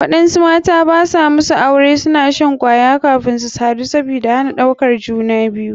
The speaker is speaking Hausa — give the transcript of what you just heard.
Waɗansu mata masu aure suna shan kwaya kafin su sadu sabida hana ɗaukar juna biyu.